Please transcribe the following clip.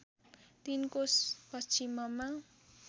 ३ कोस पश्चिममा